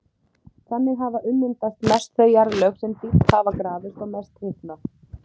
Þannig hafa ummyndast mest þau jarðlög sem dýpst hafa grafist og mest hitnað.